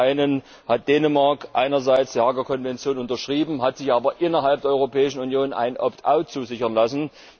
Zum einen hat Dänemark einerseits die Haager Konvention unterschrieben, hat sich aber innerhalb der Europäischen Union ein Opt out zusichern lassen.